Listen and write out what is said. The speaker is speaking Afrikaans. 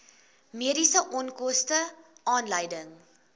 mediese onkoste aanleiding